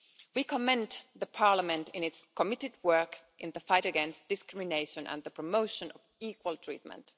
We commend the Parliament in its committed work in the fight against discrimination and the promotion of equal treatment.